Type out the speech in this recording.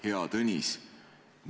Hea Tõnis!